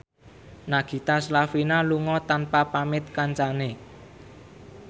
Nagita Slavina lunga tanpa pamit kancane